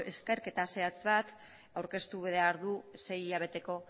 ikerketa zehatz bat aurkeztu behar du sei hilabeteko